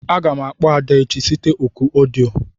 Aga m akpọ Ada echi site òkù odio.